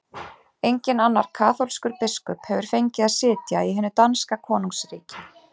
Enginn annar kaþólskur biskup hefur fengið að sitja í hinu danska konungsríki!